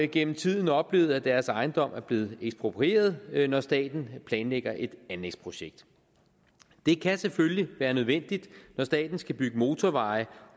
gennem tiden oplevet at deres ejendom er blevet eksproprieret når staten planlægger et anlægsprojekt det kan selvfølgelig være nødvendigt når staten skal bygge motorveje